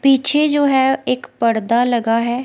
पीछे जो है एक पडदा लगा है।